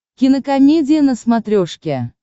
кинокомедия на смотрешке